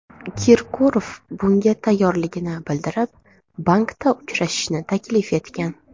Kirkorov bunga tayyorligini bildirib, bankda uchrashishni taklif etgan.